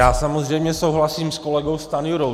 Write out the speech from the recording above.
Já samozřejmě souhlasím s kolegou Stanjurou.